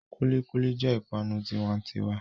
Kulikuli jẹ́ ipanu tiwa'n'tiwa.